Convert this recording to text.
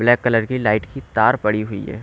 Black colour की light की तार पड़ी हुई है।